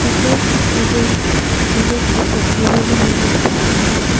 पीछे मुझे जिज्स की तस्वीरें भी नजर आ रही हैं।